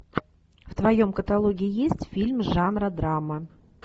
в твоем каталоге есть фильм жанра драма